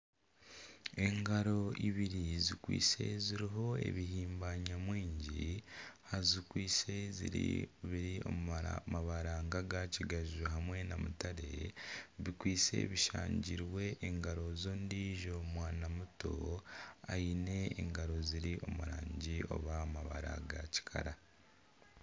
Engaro ibiri zikwaitse ziriho ebihimba nyamwingi zikwaitse biri omu mabara ga kigaju hamwe na mutare bikwaitse bishangirwe engaro z'ondijo mwana muto aine engaro ziri omu rangi oba amabara ga kikara.